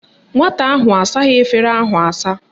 Nwata ahụ asaghị efere ahụ asa